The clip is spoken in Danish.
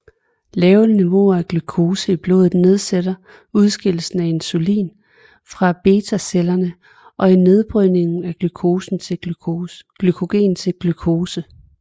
Lave niveauer af glukose i blodet nedsætter udskillelsen af insulin fra betacellerne og i nedbrydningen af glykogen til glukose